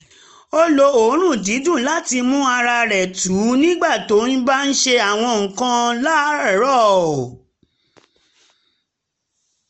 ó lo òórùn dídùn láti mú ara tù nígbà tó bá ń ṣe àwọn nǹkan láràárọ̀